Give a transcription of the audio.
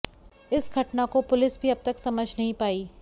इस घटना को पुलिस भी अभी तक समझ नहीं पाई